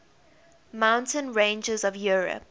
mountain ranges of europe